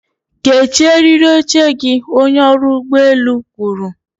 kechie eriri oche gị, onye ọrụ ụgbọ elu kwuru.